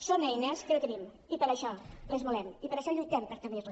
són eines que no tenim i per això les volem i per això lluitem per tenir les